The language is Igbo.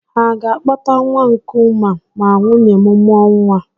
Ha ga-akpọta nwa nkụnwa ma nwunye m mụọ nwa?